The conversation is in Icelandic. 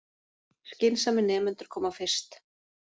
Skynsamir nemendur koma fyrst